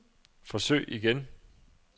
forsøg igen